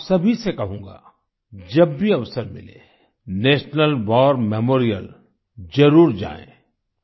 मैं आप सभी से कहूँगा जब भी अवसर मिले नेशनल वार मेमोरियल जरुर जाएँ